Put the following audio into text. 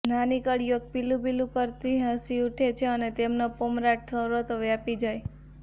નાની કળીઓ ખીલું ખીલું થતી હસી ઊઠે અને તેમનો પમરાટ સર્વત્ર વ્યાપી જાય